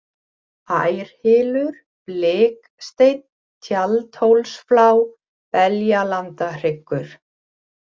Ærhylur, Bliksteinn, Tjaldhólsflá, Beljandahryggur